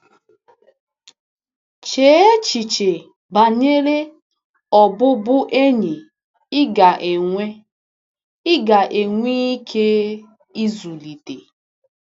Chee echiche banyere ọbụbụenyi ị ga-enwe ị ga-enwe ike ịzụlite.